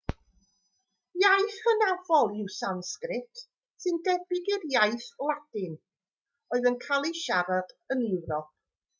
iaith hynafol yw sansgrit sy'n debyg i'r iaith ladin oedd yn cael ei siarad yn ewrop